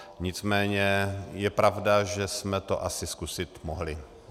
Nicméně je pravda, že jsme to asi zkusit mohli.